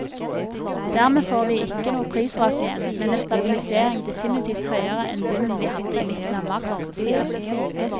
Dermed får vi ikke noe prisras igjen, men en stabilisering definitivt høyere enn bunnen vi hadde i midten av mars, sier hun.